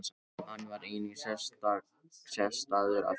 Hann var einnig sektaður af félaginu